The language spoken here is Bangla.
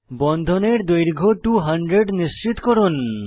বন্ধনের দৈর্ঘ্য 200 নিশ্চিত করুন